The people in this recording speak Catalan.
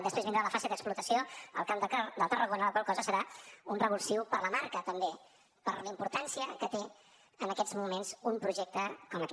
després vindrà la fase d’explotació al camp de tarragona la qual cosa serà un revulsiu per la marca també per la importància que té en aquests moments un projecte com aquest